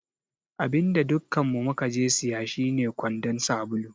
Abinda dukkanmu mukaje siya shine kwandon sabulu.